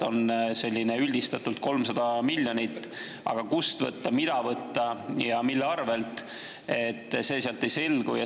On üldistatult 300 miljonit, aga kust võtta, mida võtta ja mille arvelt, sealt ei selgu.